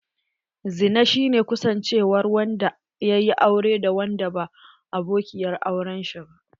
Zina shi ne kusancewar wanda yaƴi aure da wanda ba abokiyar auren shi ba.